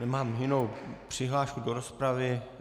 Nemám jinou přihlášku do rozpravy.